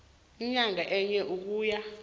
inyanga yinye ukuya